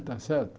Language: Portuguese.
Está certo?